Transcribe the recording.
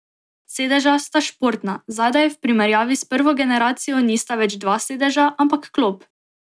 Sedeža sta športna, zadaj v primerjavi s prvo generacijo nista več dva sedeža, ampak klop.